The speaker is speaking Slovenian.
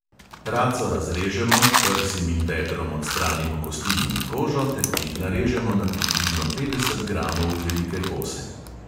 Raco razrežemo, prsim in bedrom odstranimo kosti in kožo ter jih narežemo na približno petdeset gramov velike kose.